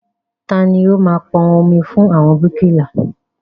Tani ó máa pọn omi fún àwọn bíríkìlà?